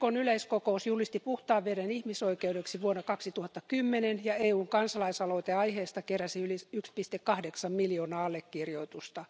YKn yleiskokous julisti puhtaan veden ihmisoikeudeksi vuonna 2010 ja EUn kansalaisaloite aiheesta keräsi yli 1,8 miljoonaa allekirjoitusta.